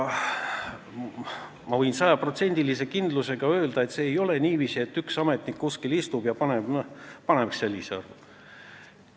Ma võin sajaprotsendilise kindlusega öelda, et ei ole niiviisi, et üks ametnik kuskil istub ja ütleb, et paneks sellise summa.